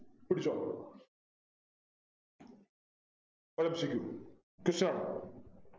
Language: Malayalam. പിടിച്ചോ ഒരു MCQquestion ആണ്